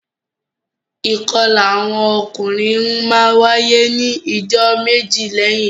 Ìkọla awọn ọkunrin ńwaye ni ijọ meje lẹhin ibimọ.